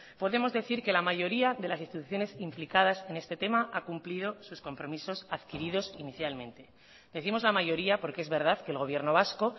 podemos decir que la mayoría de las instituciones implicadas en este tema ha cumplido sus compromisos adquiridos inicialmente decimos la mayoría porque es verdad que el gobierno vasco